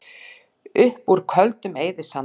Upp úr Köldum eyðisandi